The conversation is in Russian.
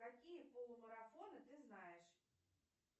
какие полумарафоны ты знаешь